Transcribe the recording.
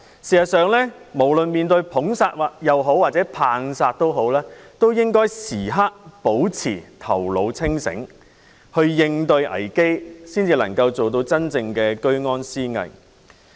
"事實上，無論面對"捧殺"或"棒殺"也好，都應該時刻保持頭腦清醒，應對危機，才能夠真正做到居安思危。